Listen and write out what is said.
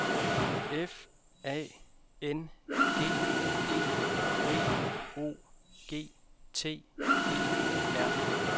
F A N G E V O G T E R